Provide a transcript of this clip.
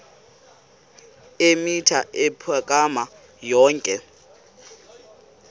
eemitha ukuphakama yonke